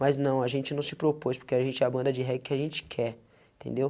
Mas não, a gente não se propôs, porque a gente é a banda de reggae que a gente quer, entendeu?